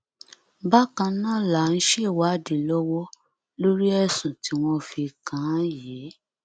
bákan náà là ń ṣèwádì lọwọ lórí ẹsùn tí wọn fi kàn án yìí